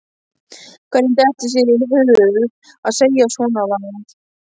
Hvernig dettur þér í hug að segja svonalagað!